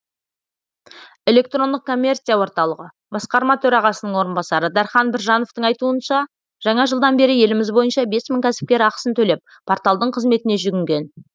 электрондық коммерция орталығы басқарма төрғасының орынбасары дархан біржановтың айтуынша жаңа жылдан бері еліміз бойынша бес мың кәсіпкер ақысын төлеп порталдың қызметіне жүгінген